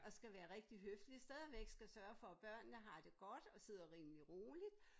Og skal være rigtig høflig stadigvæk skal sørge for at børnene har det godt og sidder rimelig roligt